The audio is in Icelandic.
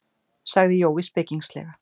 sagði Jói spekingslega.